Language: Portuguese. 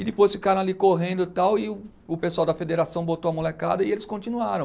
E depois ficaram ali correndo e tal e o o pessoal da federação botou a molecada e eles continuaram.